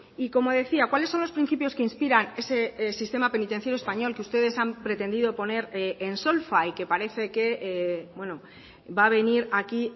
y como decía cuáles son los principios que inspiran ese sistema penitenciario español que ustedes han pretendido poner en solfa y que parece que va a venir aquí